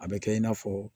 A bɛ kɛ i n'a fɔ